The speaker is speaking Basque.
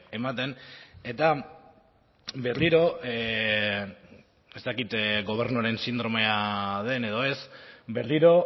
ematen eta berriro ez dakit gobernuaren sindromea den edo ez berriro